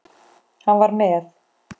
Hann var með